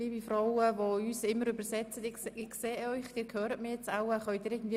Liebe Dolmetscherinnen, ich glaube, Sie hören mich.